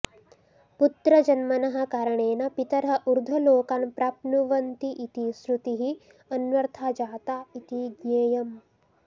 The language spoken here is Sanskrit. पुत्रजन्मनः कारणेन पितरः ऊर्ध्वलोकान् प्राप्नुवन्तीति श्रुतिः अन्वर्था जाता इति ज्ञेयम्